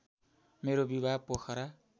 मेरो विवाह पोखरा